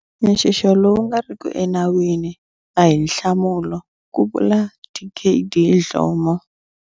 Nxixo lowu nga riki enawini a hi nhlamulo, ku vula Dkd Dhlomo.